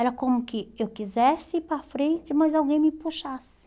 Era como que eu quisesse ir para frente, mas alguém me puxasse.